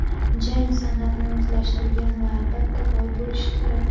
jang san’atini o‘zlashtirgan va albatta boy bo‘lishi kerak.